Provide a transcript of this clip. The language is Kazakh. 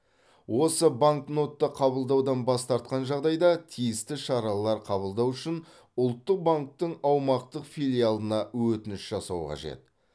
осы банкнотты қабылдаудан бас тартқан жағдайда тиісті шаралар қабылдау үшін ұлттық банктің аумақтық филиалына өтініш жасау қажет